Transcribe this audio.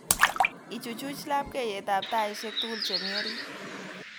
Ichuchuch labkeiyetab taishek tugul chemi orit